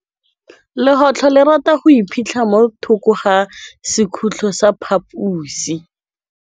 Legôtlô le rata go iphitlha mo thokô ga sekhutlo sa phaposi.